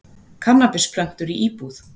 Kannabisplöntur í íbúð